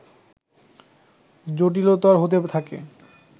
জটিলতর হতে থাকে